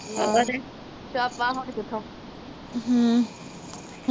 ਛਾਪਾ ਹੁਣ ਕਿਥੋਂ